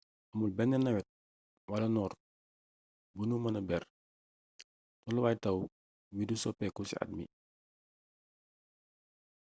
amul benn nawet wala noor bu nu mëna ber: tolluwaay taw wi du soppeeku ci at mi.